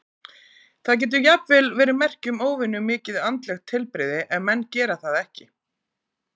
Það getur jafnvel verið merki um óvenju mikið andlegt heilbrigði ef menn gera það ekki.